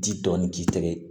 Ji dɔɔnin k'i tɛgɛ ye